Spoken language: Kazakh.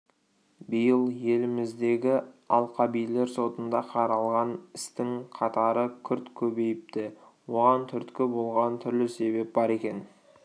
биыл еліміздегі алқабилер сотында қаралған істің қатары күрт көбейіпті оған түрткі болған түрлі себеп бар екен